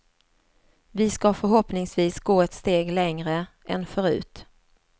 Vi ska förhoppningsvis gå ett steg längre än förut.